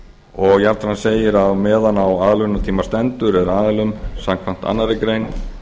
og jafnframt segir að meðan á aðlögunartíma stendur er aðilum samkvæmt annarri grein